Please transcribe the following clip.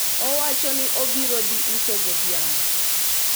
owacho ni obiro dhi uso godhiambo